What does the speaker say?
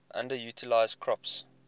underutilized crops